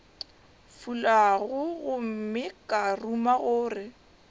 fulago gomme ka ruma gore